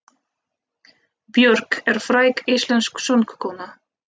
Björk er fræg íslensk söngkona.